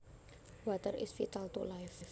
Water is vital to life